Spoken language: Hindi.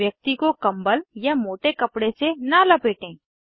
व्यक्ति को कम्बल या मोटे कपडे से न लपेटें